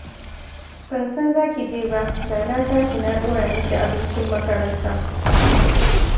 Ban san za ki je ba, da na tashi na ɗora miki abincin makaranta